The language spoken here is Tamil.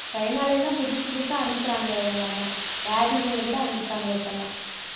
சைனால இருந்து தான், புதுசு புதுசா அனுப்புறாங்க எதெல்லாமோ வியாதிகள் கூட அனுப்புறாங்க இப்பெல்லாம்.